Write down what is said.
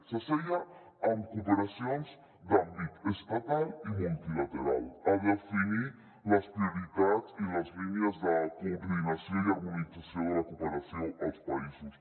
s’asseia amb cooperacions d’àmbit estatal i multilateral a definir les prioritats i les línies de coordinació i harmonització de la cooperació als països